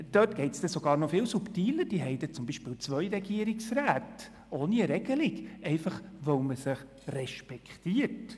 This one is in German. Dort läuft es sogar noch viel subtiler, beispielweise haben die deutschsprachigen Minderheiten zwei Regierungsräte – ohne Regelung, einfach weil man sich respektiert.